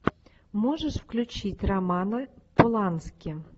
можешь включить романа полански